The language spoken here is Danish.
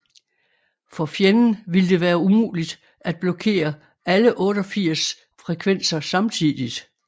For fjenden ville det være umuligt at blokkere alle 88 frekvenser samtidigt